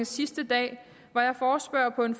sidste dag var jeg forespørger på en